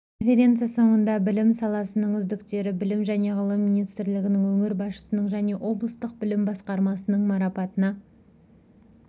конференция соңында білім саласының үздіктері білім және ғылым министрлігінің өңір басшысының және облыстық білім басқармасының марапатына